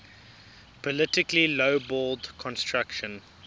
politically lowballed construction